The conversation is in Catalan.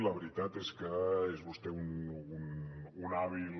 la veritat és que és vostè un hàbil